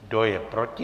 Kdo je proti?